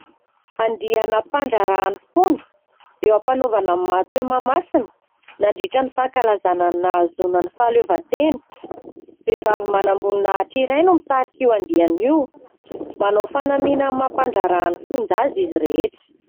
Andiana mpandraharahan'ny fonja eo am-panaovana ny matso eo Mahamasina. Nandriatra ny fankalazana ny nahazoana ny fahaleovantena : vehivavy manam-boninahitra iray no mitarika io andiana io, manao fanamiana amin'ny maha mpandraharahan'ny fonja azy izy rehetra.